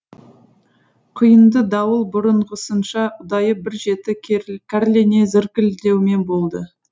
құйынды дауыл бұрынғысынша ұдайы бір жеті кәрлене зіркілдеумен болды